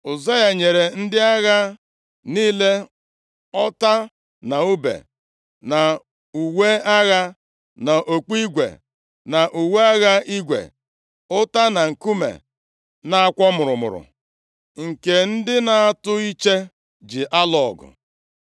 Ụzaya nyere ndị agha niile, ọta, na ùbe, na uwe agha, na okpu igwe, na uwe agha igwe, ụta na nkume na-akwọ mụrụmụrụ, nke ndị na-atụ iche ji alụ ọgụ.